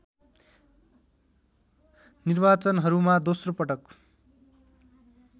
निर्वाचनहरूमा दोस्रो पटक